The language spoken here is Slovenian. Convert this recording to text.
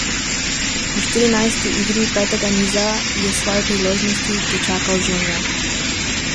V štirinajsti igri petega niza je svoji priložnosti dočakal Žemlja.